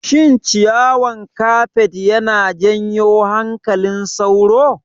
Shin ciyawan kafet yana janyo hankalin sauro?